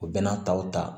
U bɛna taw ta